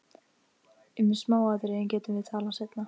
Um smáatriðin getum við talað seinna.